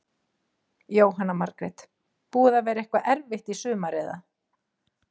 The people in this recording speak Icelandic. Jóhanna Margrét: Búið að vera eitthvað erfitt í sumar eða?